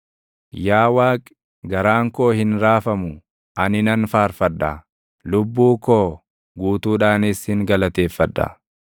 Yaa Waaqi, garaan koo hin raafamu; ani nan faarfadha; lubbuu koo guutuudhaanis sin galateeffadha.